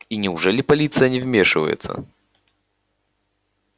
и неужели полиция не вмешивается